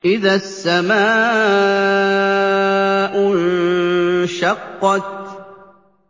إِذَا السَّمَاءُ انشَقَّتْ